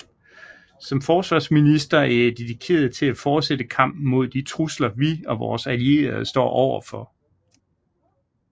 Som forsvarsminister er jeg dedikeret til at fortsætte kampen mod de trusler vi og vore allierede står overfor